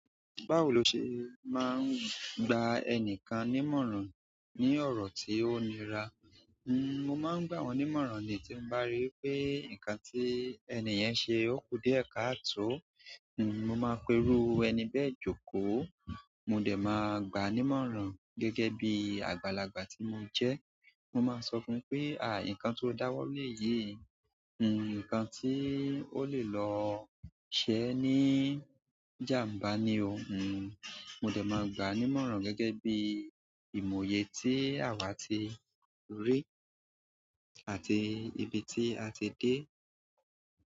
Báwo lo ṣe máa ń gba ẹni kan nímọ̀ràn ní ọ̀rọ̀ tí ó nira? N-mò máa ń gbà wọn nímọ̀ràn ni tí mo bá ríi pé nǹkan tí ẹni yẹn ṣe ó kú díẹ̀ ká àtó. N-mo máa ń pe irú ẹni bẹ́ẹ̀ jókòó. Mo dẹ̀ máa gba nímọ̀ràn gẹ́gẹ́ bí àgbàlagbà tí mo jẹ́. Mo máa sọ fún un pé, "àì nǹkan tó dáwọ́ lé ye." Nǹkan tí ó lè lọ ṣe ẹ́ ní ìjàǹbá ni o. Mo dẹ̀ má gbà á nímọ̀ràn gẹ́gẹ́ bí i ìmòye tí àwa ti rí. Àti ibi tí a ti dé.